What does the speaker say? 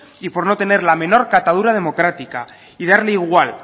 y por no tener la menor catadura democrática y darle igual